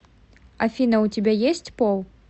афина у тебя есть пол